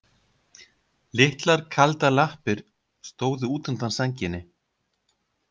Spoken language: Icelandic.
Litlar kaldar lappir stóðu út undan sænginni.